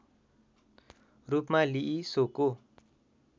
रूपमा लिई सोको